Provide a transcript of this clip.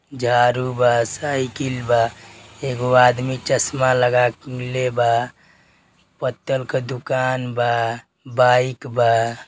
झारू बा। साइकिल बा। एगो आदमी चश्मा लगा के ले बा। पत्तल का दुकान बा। बाइक बा।